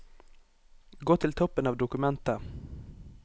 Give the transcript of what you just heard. Gå til toppen av dokumentet